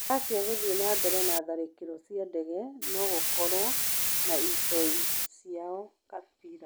Racia guthiĩ na mbere na tharĩkĩro cĩa dege nogũkorwo na itoi ciao Kabira